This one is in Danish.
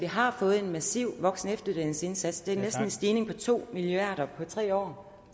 har fået en massiv voksenefteruddannelsesindsats det er næsten en stigning på to milliard kroner på tre år